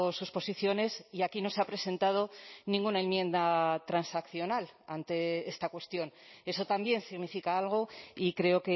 sus posiciones y aquí no se ha presentado ninguna enmienda transaccional ante esta cuestión eso también significa algo y creo